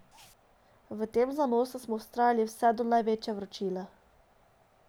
V takem zanosu smo vztrajali vse do največje vročine.